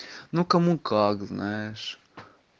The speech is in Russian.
ну кому как знаешь